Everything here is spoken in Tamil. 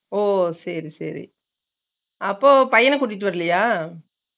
ஒ சேரிசேரி அப்போ பையனா கூட்டிட்டு வரலையா